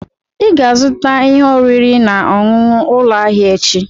Ị ga-azụta ihe oriri na nnukwu ụlọ ahịa echi!